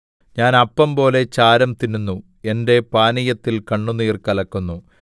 ഞാൻ അപ്പം പോലെ ചാരം തിന്നുന്നു എന്റെ പാനീയത്തിൽ കണ്ണുനീർ കലക്കുന്നു